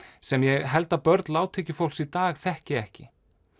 sem ég held að börn lágtekjufólks í dag þekki ekki